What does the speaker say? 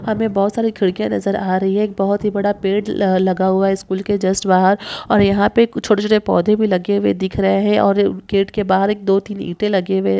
हमे बहोत सारे खिड़किया नजर आ रही है एक बहोत ही बडा पेड़ लगा हुआ है स्कूल के जस्ट बाहर और यहाँ पे छोटे-छोटे पौधे भी लगे हुए दिख रहे है और गेट के बाहर एक दो तीन ईटे लगे हुए --